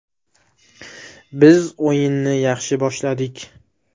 Biz o‘yinni yaxshi boshladik.